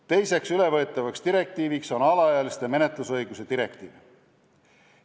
Teiseks ülevõetavaks direktiiviks on alaealiste menetlusõiguste direktiiv.